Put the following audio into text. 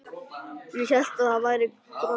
Ég hélt að þú værir svo grobbinn.